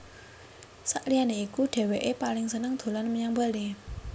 Saliyané iku dhéwéké paling seneng dolan menyang Bali